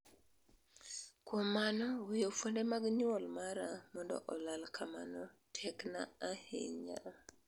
kuom mano weyo fuonde mag nyuol mara mondo olal kamano tek na ahinya